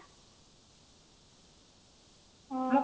ହଁ ହଁ